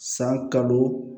San kalo